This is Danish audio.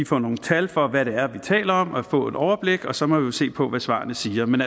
få nogle tal for hvad det er vi taler om og at få et overblik og så må vi jo se på hvad svarene siger men